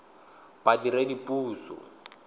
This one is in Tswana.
badiredipuso